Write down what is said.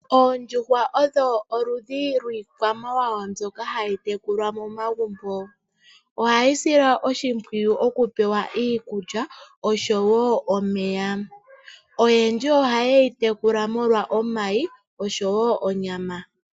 Oondjuhwa odho oludhi lwiikwamawawa mbyoka hayi tekulwa momagumbo. Ohayi silwa oshimpwiyu okupewa iikulya osho wo omeya. Oyendji ohaye yi tekula molwa omayi osho wo onyama.